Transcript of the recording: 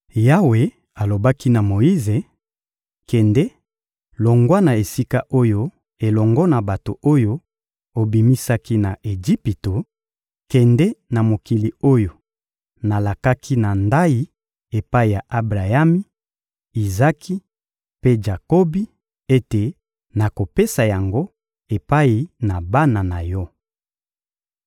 Yawe alobaki na Moyize: — Kende, longwa na esika oyo elongo na bato oyo obimisaki na Ejipito; kende na mokili oyo nalakaki na ndayi epai ya Abrayami, Izaki mpe Jakobi ete nakopesa yango epai na bana na yo.